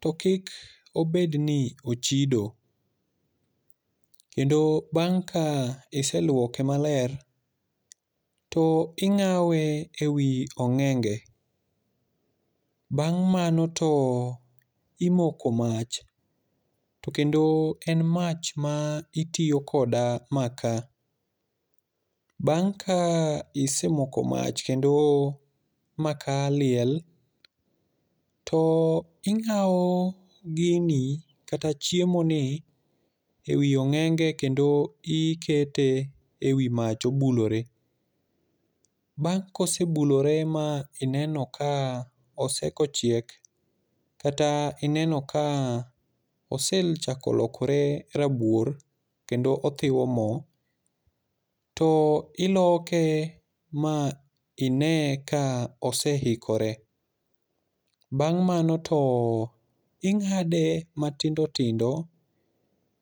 to kik obed ni ochido. Kendo bang' ka iselwoke maler to ing'awe e wi ong'enge. Bang' mano to imoko mach, to kendo en mach ma itiyo koda maka. Bang' ka isemoko mach kendo maka liel, to ing'awo gini kata chiemo ni e wi ong'enge kendo ikete e wi mach obulore. Bang' ka osebulore ma ineno ka osekochiek, kata ineno ka osechako lokore rabuor, kendo othiwo mo, to iloke ma ine ka oseikore. Bang' mano to ing'ade matindo tindo,